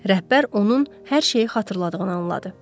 Rəhbər onun hər şeyi xatırladığını anladı.